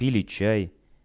пили чай